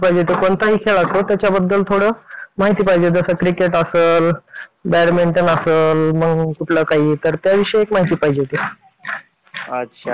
तर आपण एखाद्या ठिकाणी क्लर्क म्हणून काहीतरी एखादा कर्मचारी म्हणून